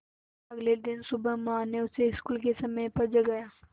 अगले दिन सुबह माँ ने उसे स्कूल के समय पर जगाया